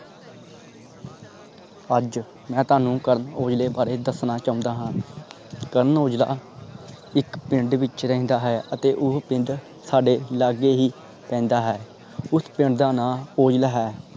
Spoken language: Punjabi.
ਅੱਜ ਮੈਂ ਤੁਹਾਨੂੰ ਕਰਨ ਔਜਲੇ ਵਾਰੇ ਦਸਣਾ ਚੋਂਦਾ ਹਾਂ ਕਰਨ ਔਜਲਾ ਇਕ ਪਿੰਡ ਵਿਚ ਰਹਿੰਦਾ ਹੈ ਅਤੇ ਉਹ ਪਿੰਡ ਸਾਡੇ ਲਾਗੇ ਹੀ ਪੈਂਦਾ ਹੈ ਉਸ ਪਿੰਡ ਦਾ ਨਾਂ ਔਜਲਾ ਹੈ